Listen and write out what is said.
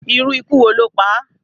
Irú ikú wo ló pá à?